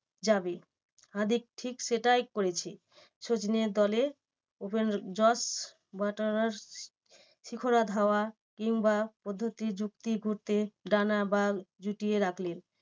যাবে। হার্দিক ঠিক সেটাই করেছে সচিনের দলে open Jos Buttler Shekhar Dhawan কিংবা পদ্ধতি যুক্তি বা জুটিয়ে রাখলেন।